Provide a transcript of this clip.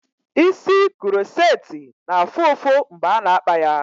Isi kuroceti na-afụ ụfụ mgbe ana-akpa ya.